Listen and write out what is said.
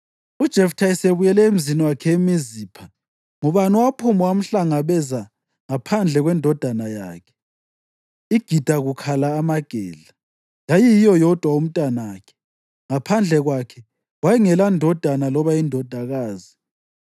UJeftha esebuyele emzini wakhe eMizipha, ngubani owaphuma wamhlangabeza ngaphandle kwendodakazi yakhe, igida kukhala amagedla! Yayiyiyo yodwa umntanakhe. Ngaphandle kwakhe wayengelandodana loba indodakazi.